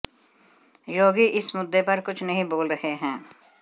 योगी इस मुद्दे पर कुछ नहीं बोल रहे हैं